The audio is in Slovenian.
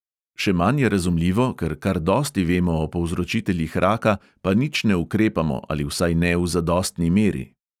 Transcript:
Še manj je razumljivo, ker kar dosti vemo o povzročiteljih raka, pa nič ne ukrepamo ali vsaj ne v zadostni meri.